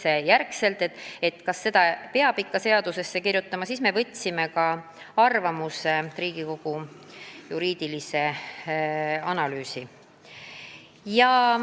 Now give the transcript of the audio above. Palusime juriidilist analüüsi, kas selle ikka peab seadusesse kirjutama, Riigikogu analüüsiosakonnalt.